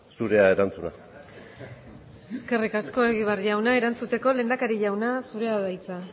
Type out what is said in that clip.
zurea erantzuna eskerrik asko egibar jauna erantzuteko lehendakari jauna zurea da hitza